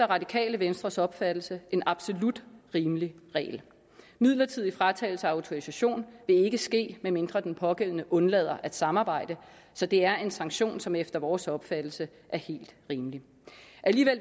radikale venstres opfattelse en absolut rimelig regel midlertidig fratagelse af autorisation vil ikke ske medmindre den pågældende undlader at samarbejde så det er en sanktion som efter vores opfattelse er helt rimelig